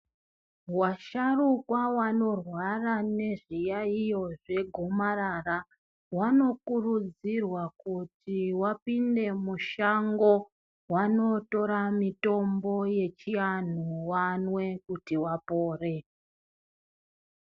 Vasharukwa vanorwara nezviyaiyo zvegomarara vanokurudzirwa kuti vapinde mushango, vanotora mitombo yechiantu vamwe kuti vapore.